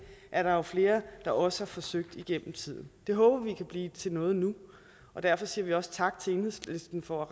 er der jo flere der også har forsøgt gennem tiden det håber vi kan blive til noget nu og derfor siger vi også tak til enhedslisten for at